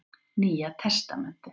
Nýja testamentið.